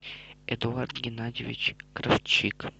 эдуард геннадьевич кравчик